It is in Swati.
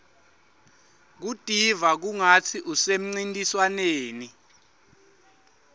kutiva kungatsi usemcintiswaneni